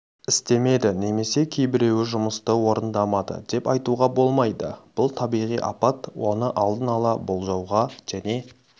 істемеді немесе кейбіреуі жұмысты орындамады деп айтуға болмайды бұл табиғи апат оны алдын-ала болжауға және